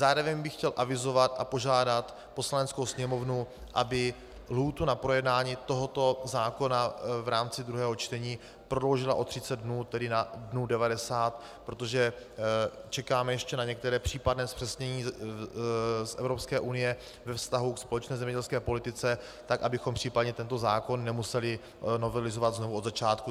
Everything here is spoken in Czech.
Zároveň bych chtěl avizovat a požádat Poslaneckou sněmovnu, aby lhůtu na projednání tohoto zákona v rámci druhého čtení prodloužila o 30 dnů, tedy na dnů 90, protože čekáme ještě na některá případná zpřesnění z Evropské unie ve vztahu k společné zemědělské politice, tak abychom případně tento zákon nemuseli novelizovat znovu od začátku.